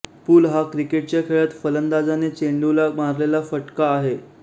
पुल हा क्रिकेटच्या खेळात फलंदाजाने चेंडूला मारलेला फटका आहे